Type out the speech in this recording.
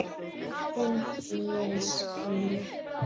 Þinn Niels Pálmi.